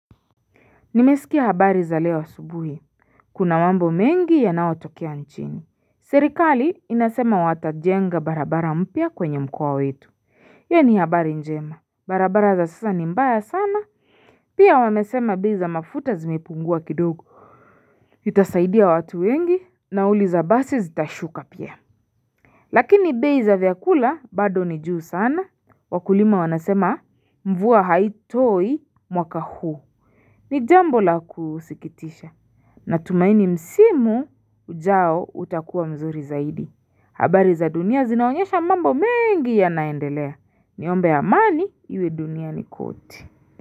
Nimesikia habari za leo asubuhi, kuna mambo mengi yanaotokea nchini. Serikali inasema watajenga barabara mpya kwenye mkoa wetu. Ye ni habari njema, barabara za sasa ni mbaya sana, pia wamesema bei za mafuta zimepungua kidogo. Itasaidia watu wengi, nauli za basi zitashuka pia. Lakini bei za vyakula bado ni juu sana, wakulima wanasema mvua haitoi mwaka huu. Ni jambo la kusikitisha. Na tumaini msimu ujao utakuwa mzuri zaidi. Habari za dunia zinaonyesha mambo mengi yanaendelea. Niombe amani iwe duniani kote.